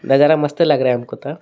नजारा मस्त लग रहा है हमको तो --